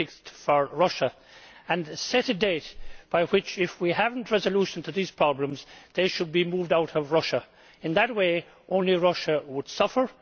fixed for Russia, and set a date by which, if we do not have a resolution to these problems, they should be moved out of Russia. In that way only Russia would suffer.